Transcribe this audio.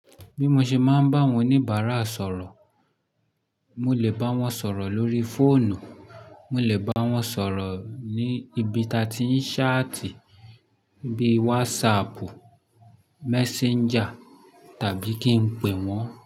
Bí mo ṣe máa ń bá àwọn oníbàárà sọ̀rọ̀, mo lè bá wọn sọ̀rọ̀ lórí fóònù, mo lè bá wọn sọ̀rọ̀ ní ibi tí a ti ń ṣáàtì bíi wásaàpù, messenger tàbí kí n pè wọ́n.